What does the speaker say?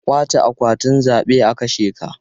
Ƙwace akwatin zabe a kashe ka.